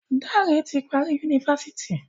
Dare ti parí Yunifásitì